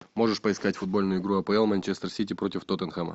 можешь поискать футбольную игру апл манчестер сити против тоттенхэма